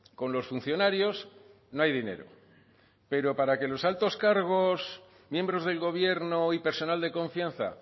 con los funcionarios no hay dinero pero para que los altos cargos miembros del gobierno y personal de confianza